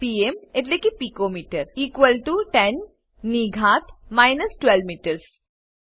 PM એટલે કે picometre 10 ની ઘાત માઈનસ 12 મીટર્સ